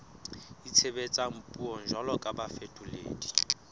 itshebetsang puong jwalo ka bafetoledi